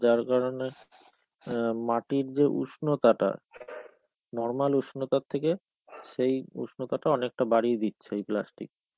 যার কারণে ইয়া মাটির যে উষ্ণতাটা normal উষ্ণতার থেকে সেই উষ্ণতটা অনেকটা বাড়িয়ে দিচ্ছে এই plastic.